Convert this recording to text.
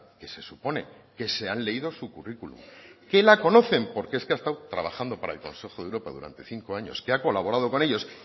que se supone que se han leído su currículo que la conocen porque es que ha estado trabajando para el consejo de europa durante cinco años que ha colaborado con ellos